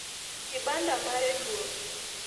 kibanda mare duong'